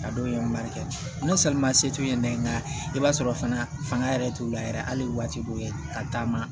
A dɔw ye barika ni salimase t'u ye nɛn nka i b'a sɔrɔ fana fanga yɛrɛ t'u la yɛrɛ hali waati dɔw ye ka taama